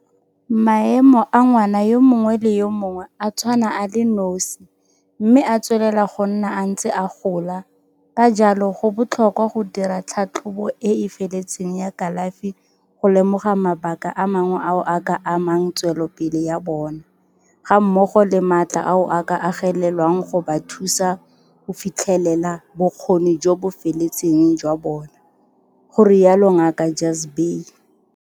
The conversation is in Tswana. Maemo a ngwana yo mongwe le yo mongwe a tshwana a le nosi mme a tswelela go nna a ntse a gola, ka jalo go botlhokwa go dira tlhatlhobo e e feletseng ya kalafi go lemoga mabaka a mangwe ao a ka amang tswelopele ya bona, gammogo le maatla ao a ka agelelwang go ba thusa go fi tlhelela bokgoni jo bo feletseng jwa bona, go rialo Ngaka Jhazbhay.